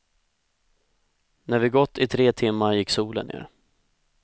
När vi gått i tre timmar gick solen ner.